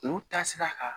Olu taasira kan